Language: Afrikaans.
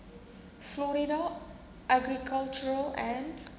florida agricultural and